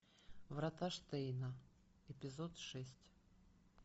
врата штейна эпизод шесть